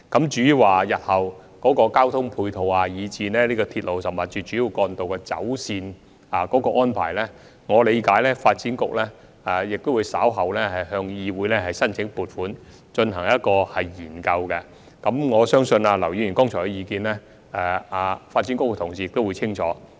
至於日後的交通配套，以至鐵路甚或是主要幹道的走線安排，我理解發展局稍後會向議會申請撥款進行研究，並相信劉議員剛才提出的意見，發展局的同事已相當清楚。